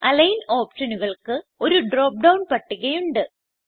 align ഓപ്ഷനുകൾക്ക് ഒരു drop down പട്ടിക ഉണ്ട്